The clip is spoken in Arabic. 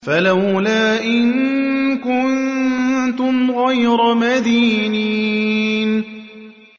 فَلَوْلَا إِن كُنتُمْ غَيْرَ مَدِينِينَ